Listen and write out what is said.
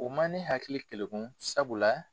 O ma ne hakili kelekun sabula.